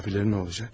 Ya qonaqlar nə olacaq?